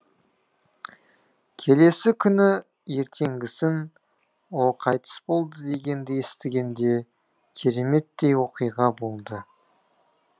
келесі күні ертеңгісін ол қайтыс болды дегенді естігенде кереметтей оқиға болды